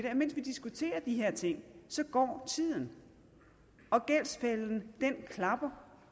at mens vi diskuterer de her ting går tiden og gældsfælden klapper